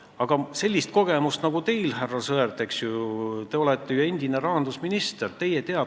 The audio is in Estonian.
Aga sellist kogemust nagu teil, härra Sõerd, kes te olete endine rahandusminister, mul ei ole.